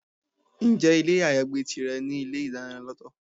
Ǹjẹ́ ilé ayagbé tìrẹ ní ilé-ìdáná lọ́tọ̀?